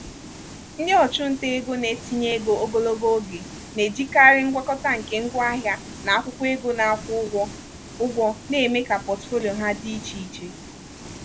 ndị ọchụnta ego na-etinye ego ogologo oge na-ejikarị ngwakọta nke ngwaahịa na akwụkwọ ego na-akwụ ụgwọ ụgwọ na-eme ka pọtụfoliyo ha dị iche iche.